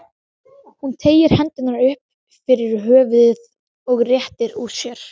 Hún teygir hendurnar upp fyrir höfuðið og réttir úr sér.